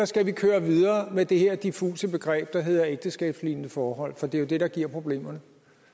skal køre videre med det her diffuse begreb der hedder ægteskabslignende forhold for det er jo det der giver problemerne